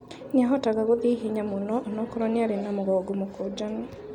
Nĩahotaga gũthiĩ ihenya mũno onakorwo niarĩ na mũgongo mũkũnjanu.